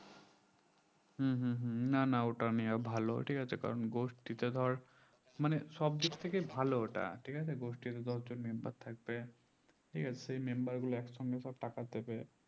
হুম হুম হুম না না ওটা নেওয়া ভালো ঠিক আছে কারণ গোষ্ঠীতে ধর মানে সব দিক থেকে ভালো ওটা গোষ্ঠীতে দশজন member থাকবে নিয়ে সেই member গুলো সব এক সঙ্গে সব টাকা দিবে